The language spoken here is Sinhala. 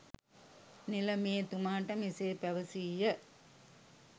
නිලමේ තුමාට මෙසේ පැවැසීය.